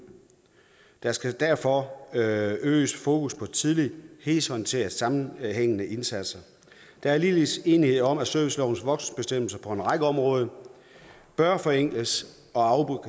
der skal derfor øget fokus på tidlige helhedsorienterede sammenhængende indsatser der er ligeledes enighed om at servicelovens voksenbestemmelse på en række områder bør forenkles og